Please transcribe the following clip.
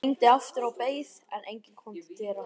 Ég hringdi aftur og beið, en enginn kom til dyra.